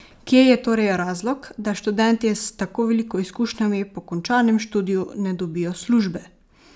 Kje je torej razlog, da študentje s tako veliko izkušnjami po končanem študiju ne dobijo službe?